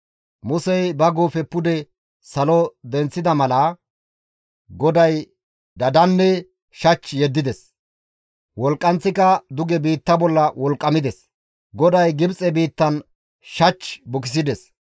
Musey ba guufe pude salo denththida mala, GODAY dadanne shach yeddides; wolqqanththika duge biitta bolla wolqqamides. GODAY Gibxe biittan shach bukisides.